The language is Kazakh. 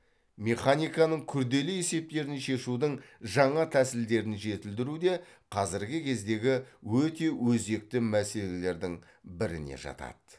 механиканың күрделі есептерін шешудің жаңа тәсілдерін жетілдіру де қазіргі кездегі өте өзекті мәселелердің біріне жатады